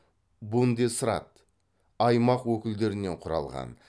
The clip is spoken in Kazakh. бундесрат аймақ өкілдерінен құралған